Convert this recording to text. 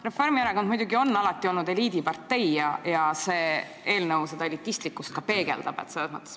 Reformierakond on muidugi alati olnud eliidipartei ja see eelnõu seda elitismi ka peegeldab.